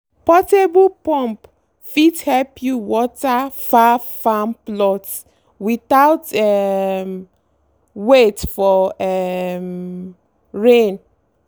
portable pump fit help you water far farm plots without um wait for um rain.